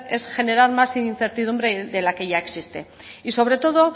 es generar más incertidumbre de la que ya existe y sobre todo